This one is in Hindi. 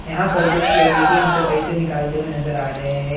यहां पर कुछ लोग ए.टी.एम. से पैसे निकालते हुए नजर आ रहे हैं।